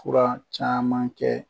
Fura caman kɛ